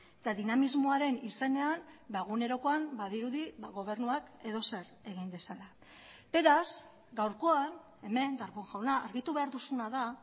eta dinamismoaren izenean egunerokoan badirudi gobernuak edozer egin dezala beraz gaurkoan hemen darpón jauna argitu behar duzuna da